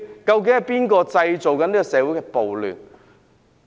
究竟是誰製造社會的暴亂？